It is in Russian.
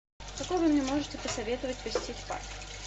какой вы мне можете посоветовать посетить парк